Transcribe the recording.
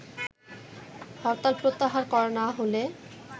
হরতাল প্রত্যাহার করা না হলে